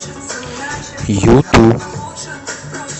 юту